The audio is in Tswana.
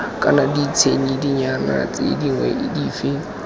kana ditshedinyana tse dingwe dife